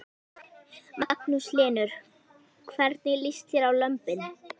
Magnús Hlynur: Hvernig líst þér á lömbin?